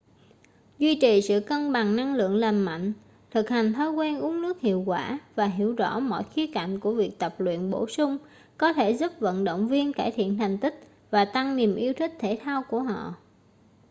duy trì sự cân bằng năng lượng lành mạnh thực hành thói quen uống nước hiệu quả và hiểu rõ mọi khía cạnh của việc tập luyện bổ sung có thể giúp vận động viên cải thiện thành tích và tăng niềm yêu thích thể thao của họ